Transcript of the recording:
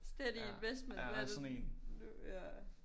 Steady investment hvad er det nu ja